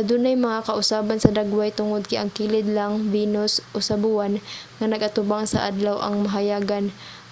adunay mga kausaban sa dagway tungod kay ang kilid lang venus o sa buwan nga nag-atubang sa adlaw ang mahayagan.